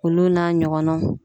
Olu n'a ɲɔgɔnnaw.